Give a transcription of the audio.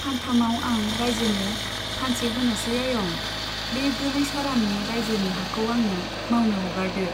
फानथामाव आं राइजोनो फानसे होनोसै आयं, बे गोलैसारानि राइजोनि हाखौ आंनो मावनो हगारदो ।